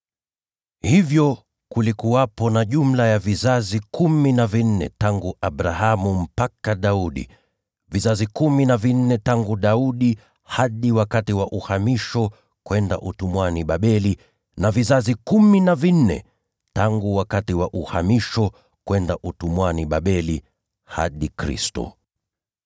Hivyo, kulikuwepo na jumla ya vizazi kumi na vinne tangu Abrahamu mpaka Daudi, vizazi kumi na vinne tangu Daudi hadi wakati wa uhamisho kwenda utumwani Babeli, na vizazi kumi na vinne tangu wakati wa uhamisho kwenda utumwani Babeli hadi Kristo.